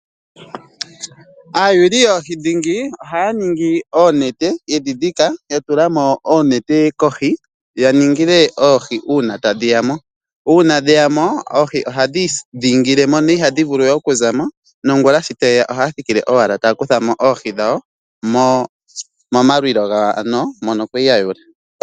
Aayuuli yoohi dhingi ohaya ningi oonete, yedhi dhika, yatula mo oonete kohi. Yaningile oohi uuna tadhi ya mo . Uuna dheya mo oohi ohadhi idhingile , dho itadhi vulu okuza mo nongula sho tadhi ya ohaye ya owala taya kutha mo oohi dhawo momalwilo gawo mono kwa li yatula.